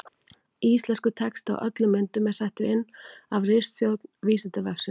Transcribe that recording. Íslenskur texti á öllum myndum er settur inn af ritstjórn Vísindavefsins.